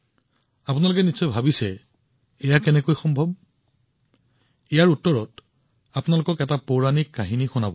আপুনি ভাবিব পাৰে যে এইটো কেনেকৈ সম্ভৱ গতিকে ইয়াৰ উত্তৰটো এটা পৌৰাণিক কাহিনীৰ অংশ